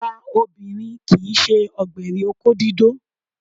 Àgbà obìnrin kì í ṣe ọ̀gbẹ̀rì òkó dídó